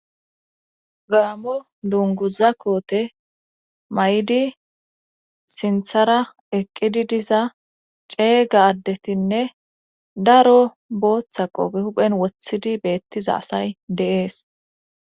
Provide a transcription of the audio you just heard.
gaamo dunguza koote may7di sinthara eqqidi diza ceeyga addetinne daro booththa qope huphen wothidi beettiza asay deees